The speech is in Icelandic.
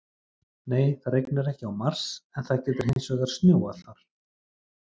Nei, það rignir ekki á Mars en það getur hins vegar snjóað þar!